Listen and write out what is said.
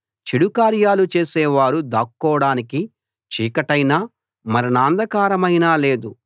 చెడు కార్యాలు చేసే వారు దాక్కోడానికి చీకటైనా మరణాంధకారమైనా లేదు